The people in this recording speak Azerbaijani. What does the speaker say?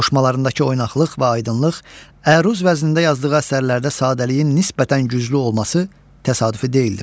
Qoşmalarındakı oynaqılıq və aydınlıq, əruz vəznində yazdığı əsərlərdə sadəliyin nisbətən güclü olması təsadüfi deyildir.